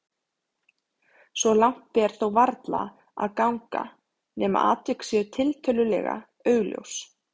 Svo langt ber þó varla að ganga nema atvik séu tiltölulega augljós.